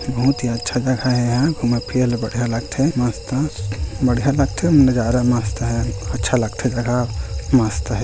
बहोत ही अच्छा जगह हे यहाँ घूमे-फिरे ल बढ़िया लागथे मस्त अ बढ़िया लागथे नज़ारा मस्त हे अच्छा लागथे हे जघा मस्त हे।